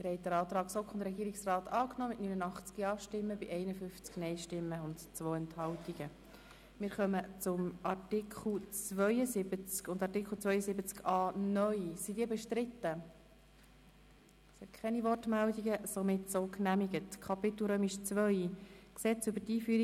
Sie haben den Antrag von der GSoK-Mehrheit und dem Regierungsrat mit 89 Ja- gegen 51 Nein-Stimmen bei 2 Enthaltungen angenommen.